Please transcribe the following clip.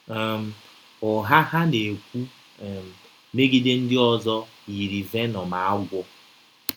um Ụgha ha na-ekwu um megide ndị ọzọ yiri venọm agwọ